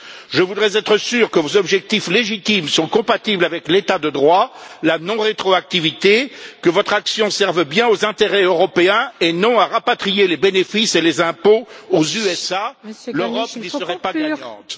Je voudrais être sûr que vos objectifs légitimes sont compatibles avec l'état de droit, la non rétroactivité, que votre action serve bien aux intérêts européens et non à rapatrier les bénéfices et les impôts aux États Unis, l'Europe n'y serait pas gagnante.